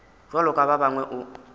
bjalo ka ba bangwe o